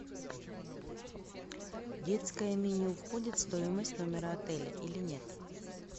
детское меню входит в стоимость номера отеля или нет